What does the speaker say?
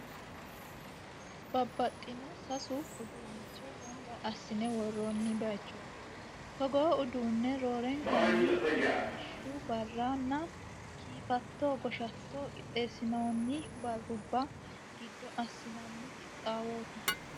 Babbaxino seesu uduunnicho gamba assine worroonni baaychooti. Togoo udduunne roorenkanni ilamishshu barra nna kiifatto goshatto qixxeessinoonni barrubba gido assinanni qixaawooti.